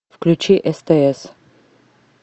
включи стс